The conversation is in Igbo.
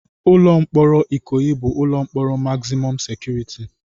Ụlọ mkpọrọ Ikoyi bụ ụlọ mkpọrọ magzimọm sekuriti.